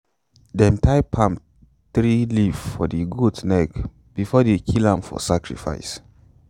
them tie palm tree leaves for the goat neck before they kill am for sacrifice.